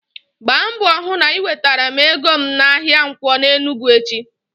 Gba mbọ hụ na i wetara m ego m n'ahịa Nkwo n'Enugwu echi!